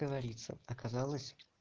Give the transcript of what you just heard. говорится оказалось